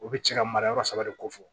U bɛ cɛ ka mara yɔrɔ saba de kofɔ